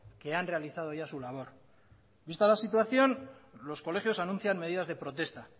que han realizado ya su labor vista la situación los colegios anuncian medidas de protesta